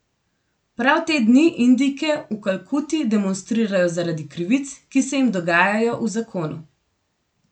Prav te dni Indijke v Kalkuti demonstrirajo zaradi krivic, ki se jim dogajajo v zakonu.